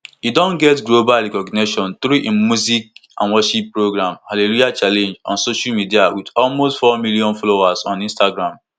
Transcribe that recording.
e don get global recognition through im music and worship program hallelujah challenge on social media wit almost four million followers on instagram